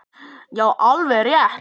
Já, alveg rétt!